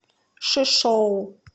шишоу